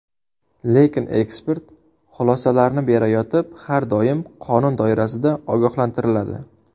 Lekin ekspert xulosalarni berayotib har doim qonun doirasida ogohlantiriladi.